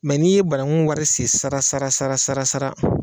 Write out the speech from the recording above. n'i ye banaŋu wari sen sara sara sara sara sara